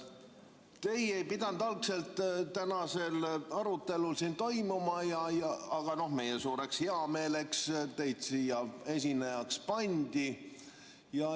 Teie ei pidanud algselt tänasel arutelul siin esinema, aga meie suureks heameeleks teid siia esinejaks pandi.